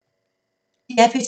DR P2